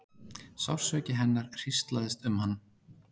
Sársauki hennar hríslaðist um hann.